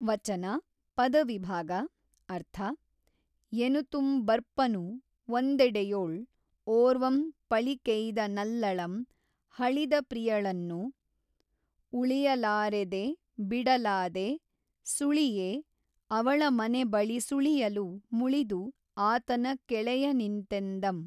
ವಚನ ಪದವಿಭಾಗ ಅರ್ಥ ಎನುತುಂ ಬರ್ಪನು ಒಂದೆಡೆಯೊಳ್ ಒರ್ವಂ ಪೞಕೆಯ್ದ ನಲ್ಲಳಂ ಹಳಿದ ಪ್ರಿಯಳನ್ನು ಉೞಿಯಲಾಱಿದೆ ಬಿಡಲಾದೆ ಸುೞಿಯೆ ಅವಳ ಮನೆ ಬಳಿ ಸುಳಿಯಲು ಮುಳಿದು ಆತನ ಕೆಳೆಯನಿಂತೆಂದಂ